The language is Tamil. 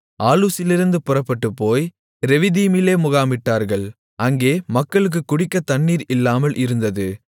ஆலூசிலிருந்து புறப்பட்டுப்போய் ரெவிதீமிலே முகாமிட்டார்கள் அங்கே மக்களுக்குக் குடிக்கத் தண்ணீர் இல்லாமல் இருந்தது